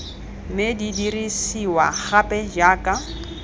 mme di dirisiwa gape jaaka